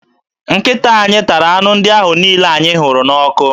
Nkịta anyị tara anụ ndị ahụ niile anyị họrọ n'ọkụ